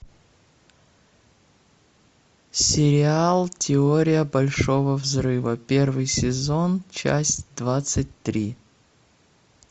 сериал теория большого взрыва первый сезон часть двадцать три